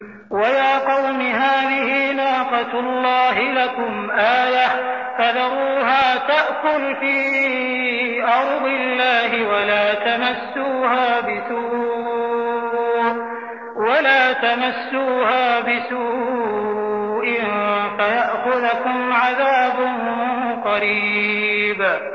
وَيَا قَوْمِ هَٰذِهِ نَاقَةُ اللَّهِ لَكُمْ آيَةً فَذَرُوهَا تَأْكُلْ فِي أَرْضِ اللَّهِ وَلَا تَمَسُّوهَا بِسُوءٍ فَيَأْخُذَكُمْ عَذَابٌ قَرِيبٌ